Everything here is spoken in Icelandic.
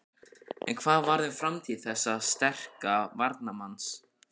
En hvað um framtíð þessa sterka varnarmanns?